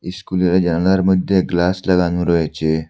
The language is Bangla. ইস্কুলের জানলার মধ্যে গ্লাস লাগানো রয়েচে।